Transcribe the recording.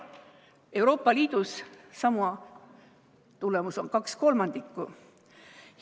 Euroopa Liidus on sama tulemus 2/3.